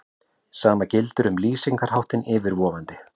Sama gildir um lýsingarháttinn yfirvofandi.